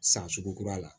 San sugu kura la